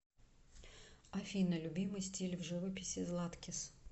афина любимый стиль в живописи златкис